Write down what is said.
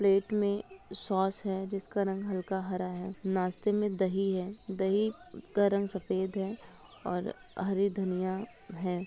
Plate में sauce है जिसका रंग हल्का हरा है नास्ते में दही है दही का रंग सफ़ेद है और हरी धनिया है।